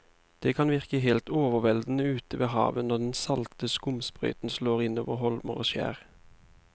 Det kan virke helt overveldende ute ved havet når den salte skumsprøyten slår innover holmer og skjær.